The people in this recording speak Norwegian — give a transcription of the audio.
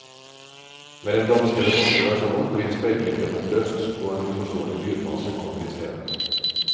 Med den danske eller norske versjonen blir speilbildet oppløst, og en uforståelig lydmasse kommer istedet.